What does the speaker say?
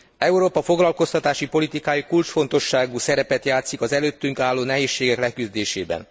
Európa foglakoztatási politikája kulcsfontosságú szerepet játszik az előttünk álló nehézségek leküzdésében.